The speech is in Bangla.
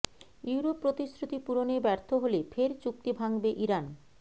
ইউরোপ প্রতিশ্রুতি পূরণে ব্যর্থ হলে ফের চুক্তি ভাঙবে ইরান